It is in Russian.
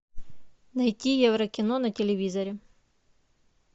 найти еврокино на телевизоре